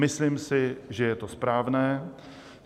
Myslím si, že je to správné.